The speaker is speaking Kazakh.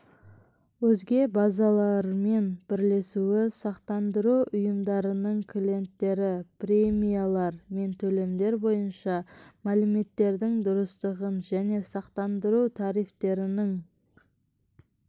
өзге базалармен бірлесуі сақтандыру ұйымдарының клиенттері премиялар мен төлемдер бойынша мәліметтердің дұрыстығын және сақтандыру тарифтерінің